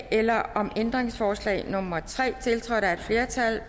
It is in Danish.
eller om ændringsforslag nummer tre tiltrådt af et flertal